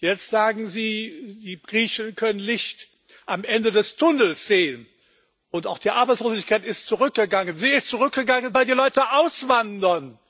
Jetzt sagen Sie Die Griechen können Licht am Ende des Tunnels sehen und auch die Arbeitslosigkeit ist zurückgegangen. Sie ist zurückgegangen, weil die Leute auswandern!